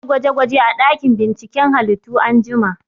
Za a yi gwaje gwaje a ɗakin binciken halittu anjima